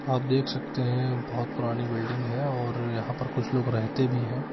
आप देख सकते है बहुत पुरानी बिल्डिंग है और यहाँ पर कुछ लोग रहते भी है।